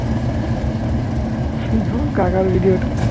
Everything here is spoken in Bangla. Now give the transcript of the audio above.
শুধু কাকার video টা